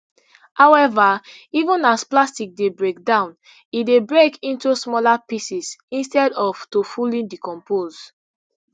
however even as plastic dey break down e dey break into smaller pieces instead of to fully decompose